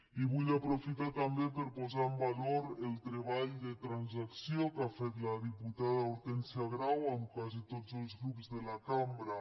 i vull aprofitar també per posar en valor el treball de transacció que ha fet la diputada hortènsia grau amb quasi tots els grups de la cambra